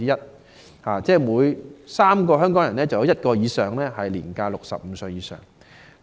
就是說，每3名香港人便有多於1人年屆65歲以上。